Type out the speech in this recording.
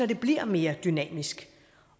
det bliver mere dynamisk